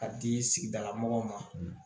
Ka di sigidala mɔgɔw ma